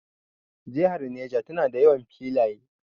Jihar Neja na da yawan filaye